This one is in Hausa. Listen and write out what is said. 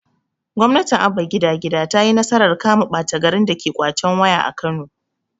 gwamnatin abba gida gida tayi nasarar kama ɓata garin dake ƙwacen waya a kano